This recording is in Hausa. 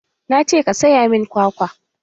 Na ce ka saya min kwakwa!